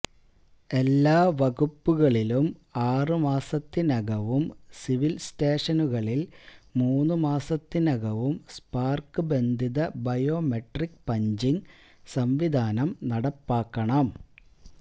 എല്ലാ വകുപ്പുകളിലും ആറ് മാസത്തിനകവും സിവിൽ സ്റ്റേഷനുകളിൽ മൂന്ന് മാസത്തിനകവും സ്പാർക്ക് ബന്ധിത ബയോമെട്രിക്ക് പഞ്ചിംഗ് സംവിധാനം നടപ്പാ ക്കണം